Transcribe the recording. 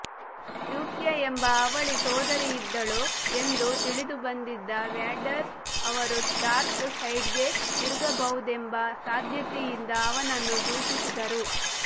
Luke ಎಂಬ ಅವಳಿ ಸೋದರಿಯಿದ್ದಳು ಎಂದು ತಿಳಿದುಬಂದಿದ್ದ ವ್ಯಾಡರ್ ಅವರು ಡಾರ್ಕ್ ಸೈಡ್ಗೆ ತಿರುಗಬಹುದೆಂಬ ಸಾಧ್ಯತೆಯಿಂದ ಅವನನ್ನು ದೂಷಿಸಿದರು